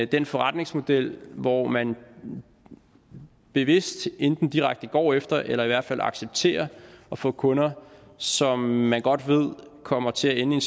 den forretningsmodel hvor man bevidst enten direkte går efter eller i hvert fald accepterer at få kunder som man godt ved kommer til at ende i